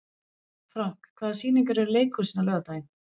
Frank, hvaða sýningar eru í leikhúsinu á laugardaginn?